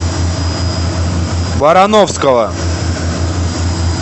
барановского